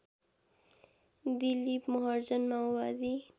दिलिप महर्जन माओवादी